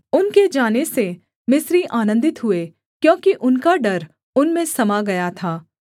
उनके जाने से मिस्री आनन्दित हुए क्योंकि उनका डर उनमें समा गया था